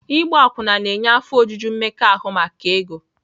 Ịgba akwụna na-enye afọ ojuju mmekọahụ maka ego.